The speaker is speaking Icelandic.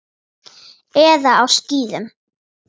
Eða á skíðum.